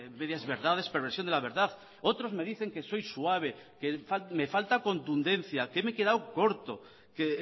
medias verdades perversión de la verdad otros me dicen que soy suave que me falta contundencia que me he quedado corto que